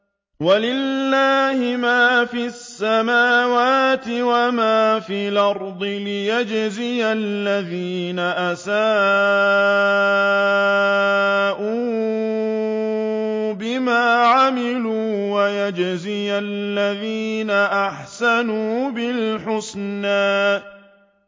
وَلِلَّهِ مَا فِي السَّمَاوَاتِ وَمَا فِي الْأَرْضِ لِيَجْزِيَ الَّذِينَ أَسَاءُوا بِمَا عَمِلُوا وَيَجْزِيَ الَّذِينَ أَحْسَنُوا بِالْحُسْنَى